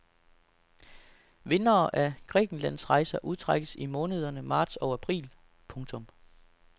Vindere af grækenlandsrejser udtrækkes i månederne marts og april. punktum